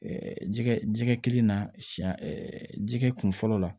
jɛgɛ jɛgɛ kelen na siyɛn jɛgɛ kun fɔlɔ la